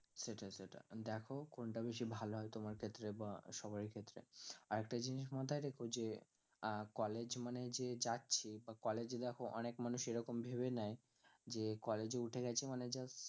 সেটাই সেটা দ্যাখো কোনটা বেশি ভালো হয় তোমার ক্ষেত্রে বা সবাইয়ের ক্ষেত্রে আর একটা জিনিস মাথায় রেখো যে আহ college মানেই যে যাচ্ছি বা college এ দ্যাখো অনেক মানুষ এরকম ভেবে নেয় যে college এ গেছি মানে